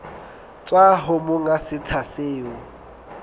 tswa ho monga setsha seo